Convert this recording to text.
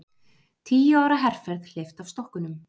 Tíu ára herferð hleypt af stokkunum